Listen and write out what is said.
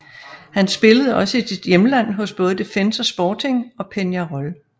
Han spillede også i sit hjemland hos både Defensor Sporting og Peñarol